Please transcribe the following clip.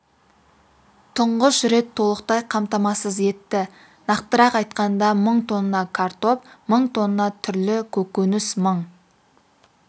тұңғыш рет толықтай қамтамасыз етті нақтырақ айтқанда мың тонна картоп мың тонна түрлі көкөніс мың